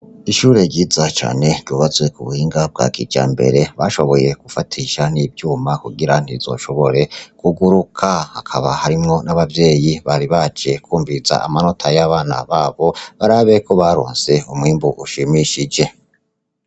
Ishure ryiza cane, ryubatswe kubuhinga bwa kijambere, bashoboye gufatisha n'ivyuma kugira ntirizoshobore kugaruka, hakaba harimwo n'abavyeyi bari baje kwumviriza amanota y'abana babo, barabe ko baronse umwimbu ushimishije.